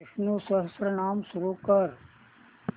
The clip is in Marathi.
विष्णु सहस्त्रनाम सुरू कर